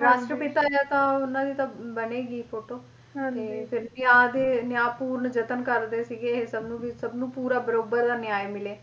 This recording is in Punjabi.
ਰਾਸ਼ਟਰ ਪਿਤਾ ਜਾਂ ਤਾਂ ਉਹਨਾਂ ਦੀ ਤਾਂ ਬਣੇਗੀ ਫੋਟੋ ਤੇ ਫਿਰ ਪਿਆਰ ਦੇ ਨਿਆਂ ਪੂਰਨ ਯਤਨ ਕਰਦੇ ਸੀਗੇ ਵੀ ਇਹ ਸਭਨੂੰ ਵੀ ਸਭਨੂੰ ਪੂਰਾ ਬਰਾਬਰ ਦਾ ਨਿਆਏ ਮਿਲੇ